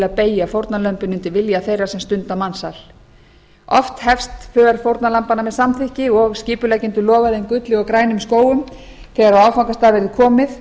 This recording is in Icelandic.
að beygja fórnarlömbin undir vilja þeirra sem stunda mansal oft hefst för fórnarlambanna með samþykki og skipuleggjendur lofa þeim gulli og grænum skógum þegar á áfangastað verði komið